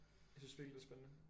Jeg synes virkelig det er spændende